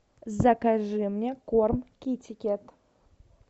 закажи мне корм китикет